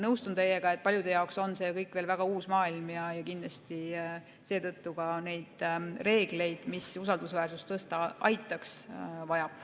Nõustun teiega, et paljude jaoks on see kõik veel väga uus maailm ja kindlasti seetõttu ka neid reegleid, mis usaldusväärsust tõsta aitaks, on vaja.